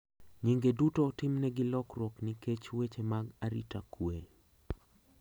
Nyinge duto otimnegi lokruok nikech weche mag arita kwe.